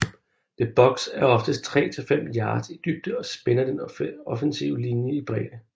The box er oftest tre til fem yards i dybde og spænder den offensive linje i bredde